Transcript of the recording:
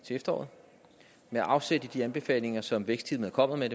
til efteråret med afsæt i de anbefalinger som vækstteamet kommer med